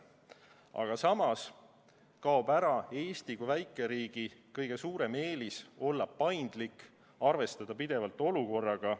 Aga samas kaob ära Eesti kui väikeriigi kõige suurem eelis olla paindlik, arvestada pidevalt olukorraga.